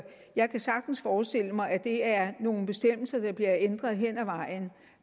jeg kan sagtens forestille mig at det er nogle bestemmelser der bliver ændret hen ad vejen